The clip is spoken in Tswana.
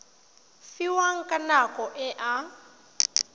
fiwang ka nako e a